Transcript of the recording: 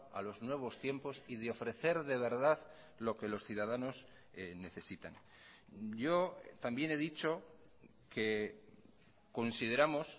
a los nuevos tiempos y de ofrecer de verdad lo que los ciudadanos necesitan yo también he dicho que consideramos